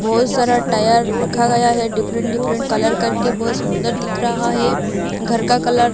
बहोत सारा टायर रखा गया है। डिफरेंट डिफरेंट कलर करके बहोत सुंदर दिख रहा है। घर का कलर --